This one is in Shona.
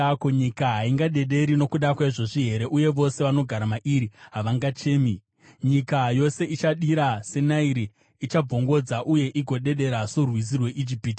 “Ko, nyika haingadederi nokuda kwaizvozvi here uye vose vanogara mairi havangachemi? Nyika yose ichadira seNairi, ichabvongodzwa uye igoderera sorwizi rweIjipiti.